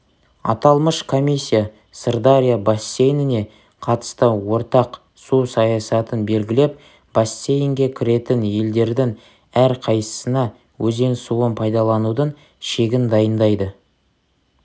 аталмыш комиссия сырдария бассейніне қатысты ортақ су саясатын белгілеп бассейнге кіретін елдердің әрқайсысына өзен суын пайдаланудың шегін тағайындайды